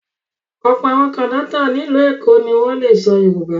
Ọ̀pọ̀ àwọn kọ̀ńdọ́tọ̀ ní ìlú Èkó ni wọ́n le sọ Yorùbá.